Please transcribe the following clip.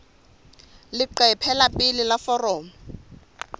leqephe la pele la foromo